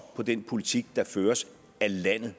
på den politik der føres af landet